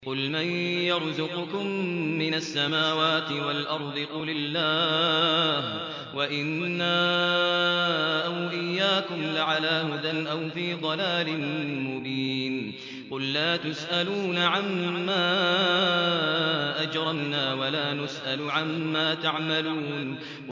۞ قُلْ مَن يَرْزُقُكُم مِّنَ السَّمَاوَاتِ وَالْأَرْضِ ۖ قُلِ اللَّهُ ۖ وَإِنَّا أَوْ إِيَّاكُمْ لَعَلَىٰ هُدًى أَوْ فِي ضَلَالٍ مُّبِينٍ